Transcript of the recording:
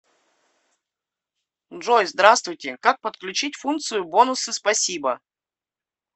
джой здравствуйте как подключить функцию бонусы спасибо